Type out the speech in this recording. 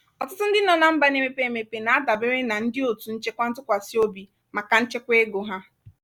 ọtụtụ ndị nọ na mba na-emepe emepe na-adabere na ndị otu nchekwa ntụkwasị obi maka nchekwa ego ha.